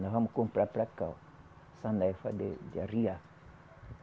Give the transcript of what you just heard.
Nós vamos comprar para cá, ó. Sanefa de de arriar.